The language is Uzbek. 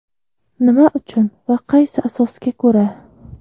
Nima uchun va qaysi asosga ko‘ra?